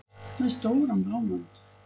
Með stóran blómvönd!